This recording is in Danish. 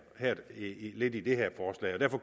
lidt ligger i det her forslag derfor